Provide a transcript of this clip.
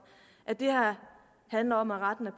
at det her handler om at rette